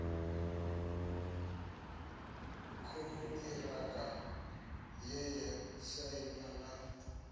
konṱiraka ye ya sainwa na